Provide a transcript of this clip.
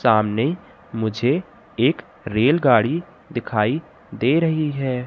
सामने मुझे एक रेलगाड़ी दिखाई दे रही है।